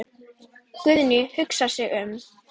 Guðný hugsar sig um.